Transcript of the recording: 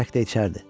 Bərk də içərdi.